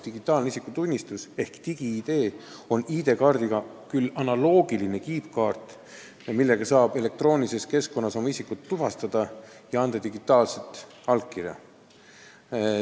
Digitaalne isikutunnistus ehk digi-ID on ID-kaardiga analoogiline kiipkaart, millega saab elektroonilises keskkonnas oma isikut tuvastada ja digitaalset allkirja anda.